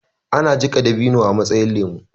ana jika dabino a matsayin lemo